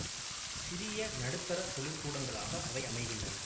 சிறிய நடுத்தர தொழிற்கூடங்களாக அவை அமைகின்றன